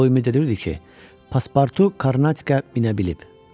O ümid edirdi ki, pasportu Karnatkaya minə bilib.